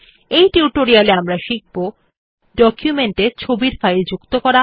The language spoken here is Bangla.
এই টিউটোরিয়াল এ আমরা শিখব ডকুমেন্ট এ ছবির ফাইল যুক্ত করা